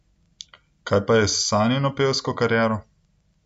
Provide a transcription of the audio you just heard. Kaj pa je s Sanjino pevsko kariero?